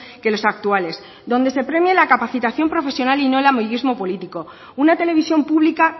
que los actuales donde se premie la capacitación profesional y no el amiguismo político una televisión pública